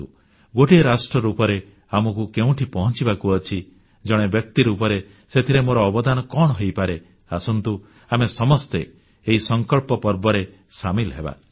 ଗୋଟିଏ ରାଷ୍ଟ୍ର ରୂପରେ ଆମକୁ କେଉଁଠି ପହଂଚିବାକୁ ଅଛି ଜଣେ ବ୍ୟକ୍ତି ରୂପରେ ସେଥିରେ ମୋର ଅବଦାନ କଣ ହୋଇପାରେ ଆସନ୍ତୁ ଆମେ ସମସ୍ତେ ଏହି ସଂକଳ୍ପ ପର୍ବରେ ସାମିଲ ହେବା